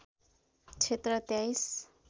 क्षेत्र २३